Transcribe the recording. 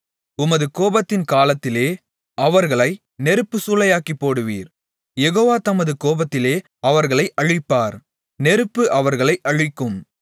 உமது கோபத்தின் காலத்திலே அவர்களை நெருப்புச் சூளையாக்கிப்போடுவீர் யெகோவா தமது கோபத்திலே அவர்களை அழிப்பார் நெருப்பு அவர்களை அழிக்கும்